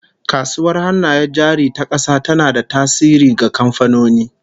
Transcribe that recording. Kasuwar Hannayen Jari ta kasa tana da tasiri ga kamfanoni